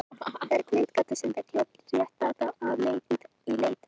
Það er blindgata sem villir réttláta af leið í leit að svörum.